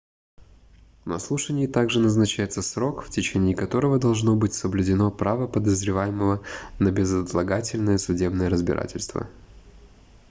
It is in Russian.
на слушании также назначается срок в течение которого должно быть соблюдено право подозреваемого на безотлагательное судебное разбирательство